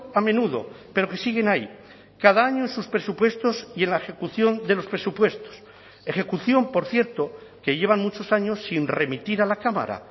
a menudo pero que siguen ahí cada año en sus presupuestos y en la ejecución de los presupuestos ejecución por cierto que llevan muchos años sin remitir a la cámara